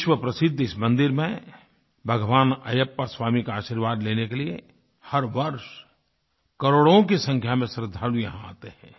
विश्वप्रसिद्ध इस मंदिर में भगवान अय्यप्पा स्वामी का आशीर्वाद लेने के लिए हर वर्ष करोड़ों की संख्या में श्रद्धालु यहाँ आते हैं